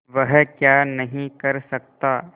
वह क्या नहीं कर सकता